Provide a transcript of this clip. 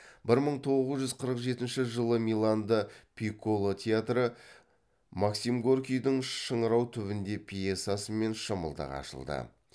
бір мың тоғыз жүз қырық жетінші жылы миланда пикколо театры максим горькийдің шыңырау түбінде пьесасымен шымылдық ашты